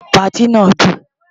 Patí náà dùn.